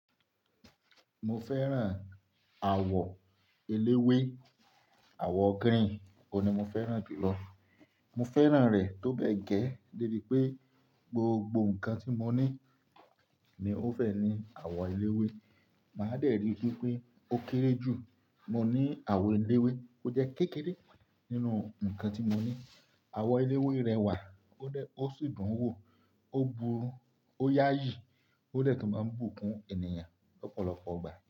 Mo fẹ́ran àwọ̀ eléwé. Àwọ̀ green ò n ní mo fẹ́ràn jù lọ. Mo fẹ́ràn rẹ̀ tó bẹ́ gẹ́ débi pé gbogbo nǹkan tí mo ní ni ó fẹ́ ní àwọ̀ eléwé. Màá dẹ̀ ri pé ó kéré jù. Mo ní àwọ̀ eléwé, ó jẹ́ kékeré nínú nǹkan tí mo ní. Àwọ̀ eléwé rẹwà ó sì dùn ún wò, ó buru, ó yááyì, ó dẹ̀ tún máa ń bùkún ènìyàn lọ́pọ̀lọpọ̀ ìgbà.